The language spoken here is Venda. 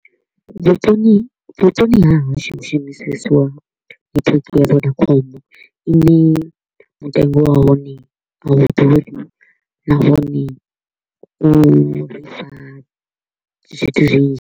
Vhuponi vhuponi ha hashu hu shumisesiwa network ya Vodacom, ine mutengo wa hone a hu ḓuri nahone uri fha zwithu zwinzhi.